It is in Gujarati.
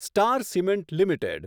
star Cement limited